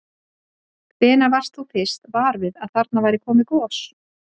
Hvenær varst þú fyrst var við að þarna væri komið gos?